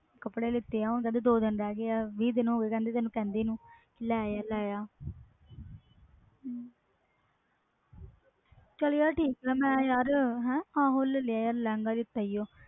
ਕੱਪੜੇ ਲੀਤੇ ਦੋ ਦਿਨ ਰਹਿ ਗਏ ਵੀਹ ਦਿਨ ਹੋ ਗਏ ਤੈਨੂੰ ਕਹਿੰਦੇ ਨੂੰ ਲੈ ਆ ਲੈ ਆ ਚਲ ਯਾਰ ਠੀਕ ਮੈਂ ਲੈ ਲਿਆ ਲਹਿੰਗਾ ਲੀਤਾ